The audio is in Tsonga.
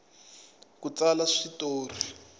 ku tsala swi tori